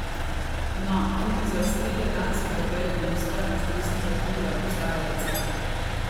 No, tudi za strele danskega velemojstra z desnega krila obstaja recept ...